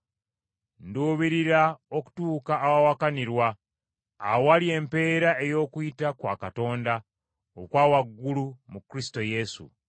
Nduubirira okutuuka awawakanirwa awali empeera ey’okuyita kwa Katonda okwa waggulu mu Kristo Yesu.